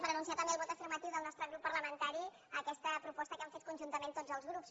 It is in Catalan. per anunciar també el vot afirmatiu del nostre grup parlamentari a aquesta proposta que hem fet conjuntament tots els grups